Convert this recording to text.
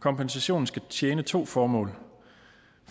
kompensationen skal tjene to formål